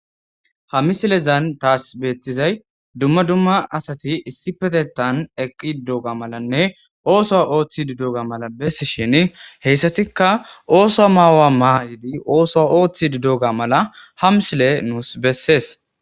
Ha misilezan taas beettizay dumma dumma asati issi petetan eqqi dudoga malanne ooso ooththi dudoga mala bessi shin heyssatikka ooso maawa maa'idi ooso ooththi didoga mala hamsile nuus bessees.